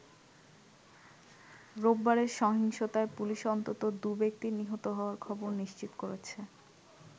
রোববারের সহিংসতায় পুলিশ অন্তত দু'ব্যক্তির নিহত হওয়ার খবর নিশ্চিত করেছে।